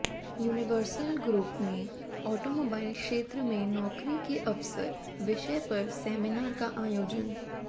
universal group में automobile क्षेत्र में नौकरी के अवसर विषय पर सैमिनार का आयोजन